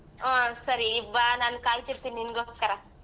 ಹಾ ಸರಿ ಈಗ್ ಬಾ ನಾನ್ ಕಾಯಿತಿರ್ತೇನಿ ನಿನಗೋಸ್ಕರ.